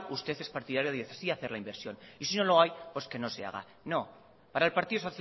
usted es partidario de decidir hacer la inversión y si no lo hay pues que no se haga no para el partido